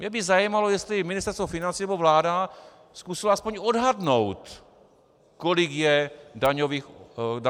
Mě by zajímalo, jestli Ministerstvo financí nebo vláda zkusily alespoň odhadnout, kolik je daňových dokladů.